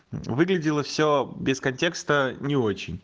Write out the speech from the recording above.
выглядело все без контекста не очень